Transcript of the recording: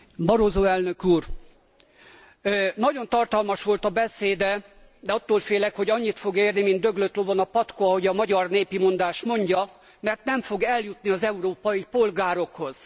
Barroso Elnök Úr! Nagyon tartalmas volt a beszéde, de attól félek, hogy annyit fog érni, mint döglött lovon a patkó ahogy a magyar népi mondás mondja mert nem fog eljutni az európai polgárokhoz.